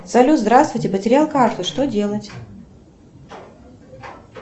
салют здравствуйте потерял карту что делать